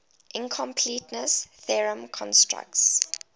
incompleteness theorem constructs